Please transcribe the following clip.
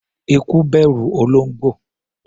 Eku bẹ̀rù olóńgbò.